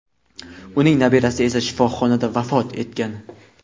uning nabirasi esa shifoxonada vafot etgan.